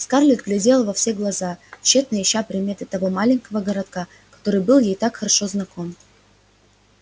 скарлетт глядела во все глаза тщетно ища приметы того маленького городка который был ей так хорошо знаком